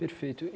Perfeito.